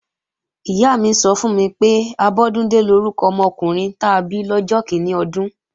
Ìyá mi sọ fún mi pé, Abọ́dúndé lórúkọ ọmọkùnrin ta bí lọ́jọ́ kíní ọdún